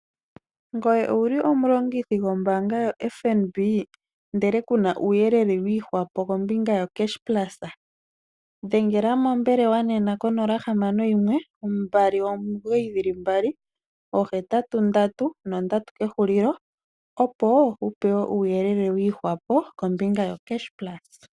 Ngoye owuli omulongithi gwombanga yoFNB ndele kuna uuyelele wu ihwapo kombinga yocashplus dhengela mombelewa nena konola hamano yimwe mbali omigoyi dhili mbali ogetatu ndatu nondatu kehulilo opo wu pewe uuyelele wu ihwapo kombinga yocashplus.